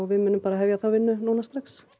við munum hefja þá vinnu núna strax